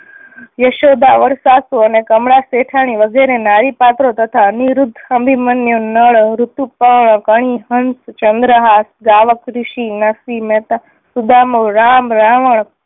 યશોદા વડ સાસુ અને કમલા શેઠાણી વગેરે નારી પાત્રો તથા અનિરુદ્ધ, અભિમન્યુ, નળ, ઋતુપર્ણ, ચંદ્રહાસ, ગાવક ઋષિ, નરસિંહ મહેતા, સુદામા, રામ, રાવણ